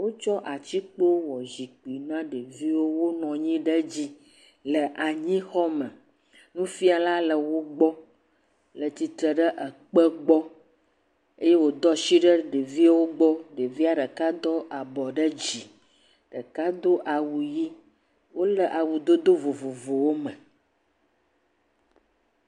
Wotsɔ atikpo wɔ zikpui na ɖeviwo wonɔ anyi ɖe dzi le anyixɔ me. Nufiala le wo gbɔ le tsitre ɖe ekpe gbɔ eye wòdo asi ɖe ɖeviawoa gbɔ. Ɖevia ɖeka do abɔ ɖe dzi, ɖeka do awu ʋe, wole awudodo vovovowo me.